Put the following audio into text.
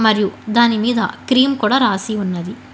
వారు దాని మీద క్రీమ్ కూడా రాసి ఉన్నది.